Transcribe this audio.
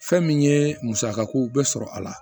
Fɛn min ye musaka ko bɛ sɔrɔ a la